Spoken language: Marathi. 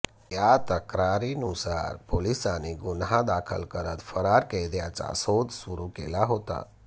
या तक्रारीनुसार पोलिसांनी गुन्हा दाखल करत फरार कैद्याचा शोध सुरू केला होता